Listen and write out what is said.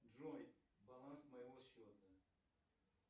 джой баланс моего счета